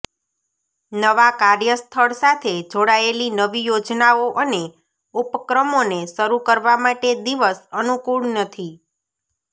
નવા કાર્યસ્થળ સાથે જોડાયેલી નવી યોજનાઓ અને ઉપક્રમોને શરૂ કરવા માટે દિવસ અનુકૂળ નથી